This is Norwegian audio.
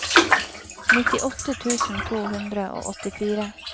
nittiåtte tusen to hundre og åttifire